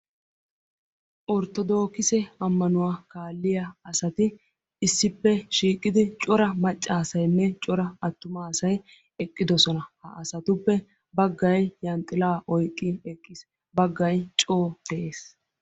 Orttodoogise ammanuwa kaalliya asati issippe shiiqidi cora maccaasaynne cora attumaasay eqqidosona. Ha asatuppe baggay zanxxilaa oyqqi eqqis baggay coo de'ees.